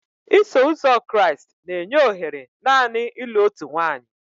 Iso Ụzọ Kraịst na-enye ohere naanị ịlụ otu nwanyị.